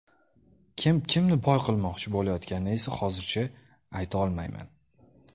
Kim kimni boy qilmoqchi bo‘layotganini esa hozircha ayta olmayman.